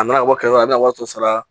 A n'a bɔ kɛmɛ a bɛna waaso sara